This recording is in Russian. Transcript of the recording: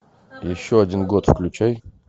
еще один год включай